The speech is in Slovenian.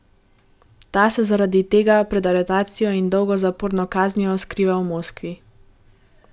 Ta se zaradi tega pred aretacijo in dolgo zaporno kaznijo skriva v Moskvi.